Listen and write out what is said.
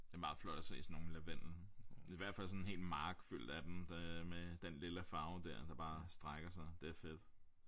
Det er meget flot at se sådan nogle lavendel i hvert fald sådan en hel mark fyldt af dem det øh med den lilla farve dér der bare strækker sig det er fedt